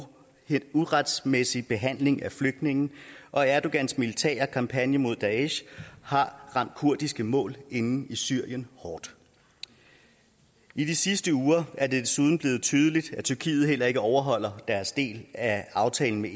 uretmæssig behandling af flygtninge og erdogans militære kampagne mod daesh har ramt kurdiske mål inde i syrien hårdt i de sidste uger er det desuden blevet tydeligt at tyrkiet heller ikke overholder deres del af aftalen med